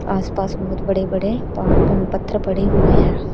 आस पास बहोत बड़े बड़े पहा अ पत्थर पड़े हुए हैं।